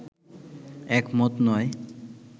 একমত নয়